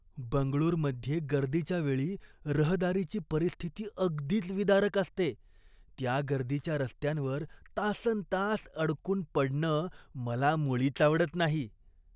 बंगळुरमध्ये गर्दीच्या वेळी रहदारीची परिस्थिती अगदीच विदारक असते. त्या गर्दीच्या रस्त्यांवर तासन् तास अडकून पडणं मला मुळीच आवडत नाही.